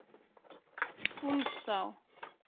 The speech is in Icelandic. Úlfsá